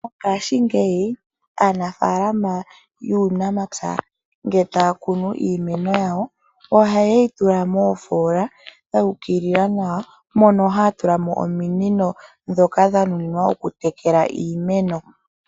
Ngashi ngeyi aanafalama yuunamapya ngele takunu iimeno yawo oha yeyitula mofola dhukilila nawa mono hatulamo ominino dhoka dhanuninwa okutekela iimeno.